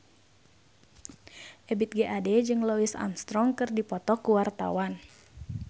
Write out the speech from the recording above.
Ebith G. Ade jeung Louis Armstrong keur dipoto ku wartawan